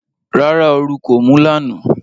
Rárá, oru kò mú lánàá.